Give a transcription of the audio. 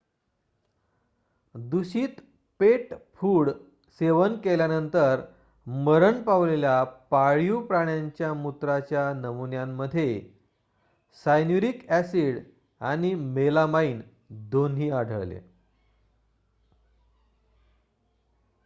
दूषित pet food सेवन केल्यानंतर मरण पावलेल्या पाळीव प्राण्यांच्या मूत्राच्या नमुन्यांमध्ये सायन्यूरिक ॲसिड आणि मेलामाइन दोन्ही आढळले